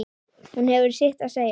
Hún hefur sitt að segja.